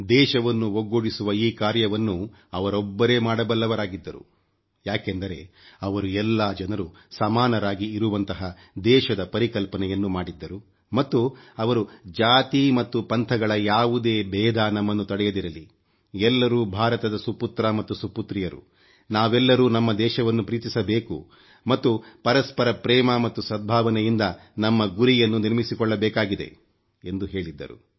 ದೇಶವನ್ನು ಒಗ್ಗೂಡಿಸುವ ಈ ಕಾರ್ಯವನ್ನು ಅವರೊಬ್ಬರೇ ಮಾಡಬಲ್ಲವರಾಗಿದ್ದರು ಯಾಕೆಂದರೆ ಅವರು ಎಲ್ಲಾ ಜನರೂ ಸಮಾನರಾಗಿ ಇರುವಂತಹ ದೇಶದ ಪರಿಕಲ್ಪನೆಯನ್ನು ಮಾಡಿದ್ದರು ಮತ್ತು ಅವರು ಜಾತಿ ಮತ್ತು ಪಂಥಗಳ ಯಾವುದೇ ಬೇಧ ನಮ್ಮನ್ನು ತಡೆಯದಿರಲಿ ಎಲ್ಲರೂ ಭಾರತದ ಸುಪುತ್ರ ಮತ್ತು ಸುಪುತ್ರಿಯರು ನಾವೆಲ್ಲರೂ ನಮ್ಮ ದೇಶವನ್ನು ಪ್ರೀತಿಸಬೇಕು ಮತ್ತು ಪರಸ್ಪರ ಪ್ರೇಮ ಮತ್ತು ಸದ್ಭಾವನೆಯಿಂದ ನಮ್ಮ ಗುರಿಯನ್ನು ನಿರ್ಮಿಸಿಕೊಳ್ಳಬೇಕಾಗಿದೆ ಎಂದು ಹೇಳಿದ್ದರು